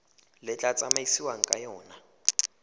le tla tsamaisiwang ka yona